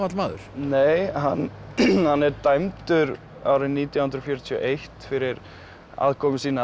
maður nei hann er dæmdur árið nítján hundruð fjörutíu og eitt fyrir aðkomu sína